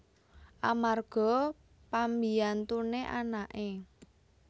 Amarga pambiyantuné anaké